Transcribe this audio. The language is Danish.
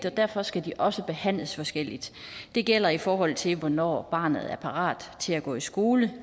og derfor skal de også behandles forskelligt det gælder i forhold til hvornår barnet er parat til at gå i skole